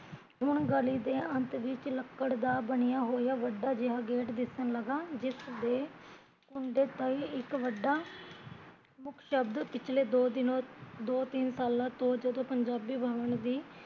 ਹੁਣ ਗਲੀ ਦੇ ਅੰਤ ਵਿੱਚ ਲੱਕੜ ਦਾ ਬਣਿਆ ਹੋਇਆ ਵੱਡਾ ਜਿਹਾ ਗੇਟ ਦਿਸਣ ਲਗਾ ਜਿਸਦੇ ਕੁੰਡੇ ਤੇ ਇੱਕ ਵੱਡਾ ਮੁਖਸ਼ਬਦ ਪਿਛਲੇ ਦੋ ਤਿੰਨ ਸਾਲਾਂ ਤੋਂ ਜਦੋਂ ਪੰਜਾਬੀ ਬਵਣ ਦੀ